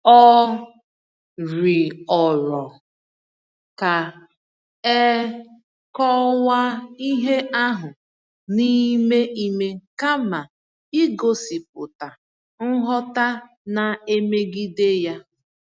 O rịọrọ ka e kọwaa ihe ahụ n’ime ime kama igosipụta nghọta na-emegide ya.